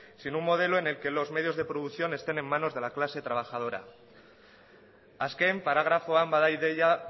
sino un modelo en el que los medios de producción estén en manos de la clase trabajadora azken paragrafoan bada ideia